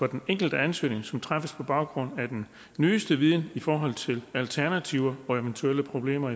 den enkelte ansøgning som træffes på baggrund af den nyeste viden i forhold til alternativer og eventuelle problemer